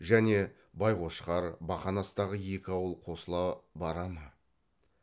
және байқошқар бақанастағы екі ауыл қосыла бара ма